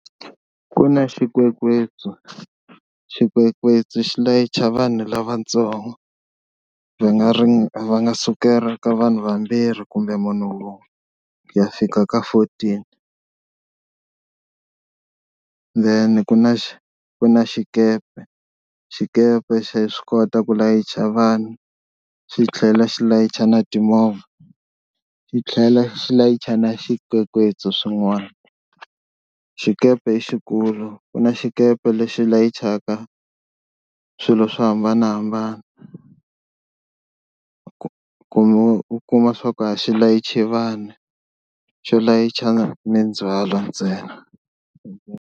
Ku na xikwekwetsu, xikwekwetsu xi layicha vanhu lavatsongo va nga ri va nga sukela ka vanhu vambirhi kumbe munhu un'we ku ya fika ka fourteen. Then ku na ku na xikepe xikepe xa swi kota ku layicha vanhu xi tlhela xi layicha na timovha, xi tlhela xi layicha na swikwekwetsi swin'wani. Xikepe i xikulu ku na xikepe lexi layichaka swilo swo hambanahambana kumbe u kuma swa ku a xi layichi vanhu xo layicha mindzwalo ntsena.